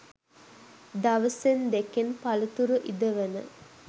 දවසෙන් දෙකෙන් පලතුරු ඉදවන